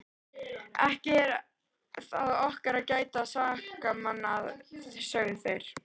Ekki er það okkar að gæta sakamanna, sögðu þeir.